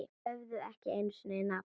Höfðu ekki einu sinni nafn.